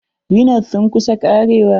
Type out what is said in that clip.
Rhino's sun kus karewa.